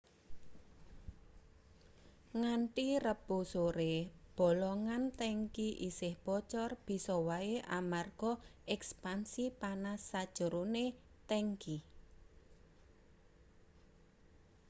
nganthi rebo sore bolongan tangki isih bocor bisa wae amarga ekspansi panas sajerone tangki